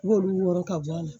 I b'olu wɔrɔ ka bɔ a la